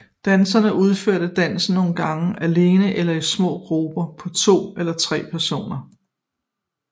Dansere udfører dansen nogen gange alene eller i små grupper på to eller tre personer